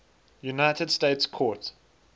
united states court